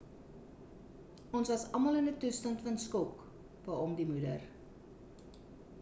ons was almal in 'n toestand van skok beaam die moeder